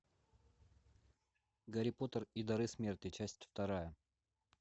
гарри поттер и дары смерти часть вторая